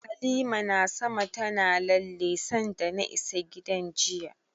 Halima na sama tana lalle sanda na isa gidan jiya.